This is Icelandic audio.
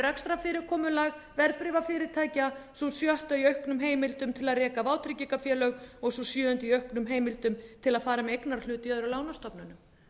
rekstrarfyrirkomulag verðbréfafyrirtækja sú sjötta í auknum heimildum til að reka vátryggingafélög og sú sjöunda í auknum heimildum til að fara með eignarhlut í öðrum lánastofnunum